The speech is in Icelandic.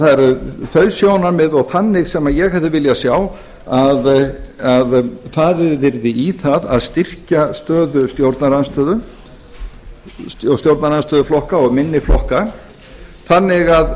það eru þau sjónarmið og þannig sem ég hefði viljað sjá að farið yrði í það að styrkja stöðu stjórnarandstöðuflokka og minni flokka þannig